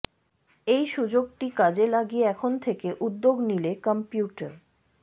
এই সুযোগটি কাজে লাগিয়ে এখন থেকে উদ্যোগ নিলে কম্পিউটার